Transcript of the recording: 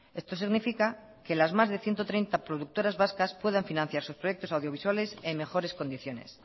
esto significa que las más de ciento treinta productoras vascas puedan financiar sus proyectos audiovisuales en mejores condiciones